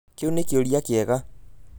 Kiũ nĩ kĩũria kĩega.